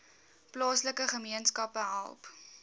plaaslike gemeenskappe help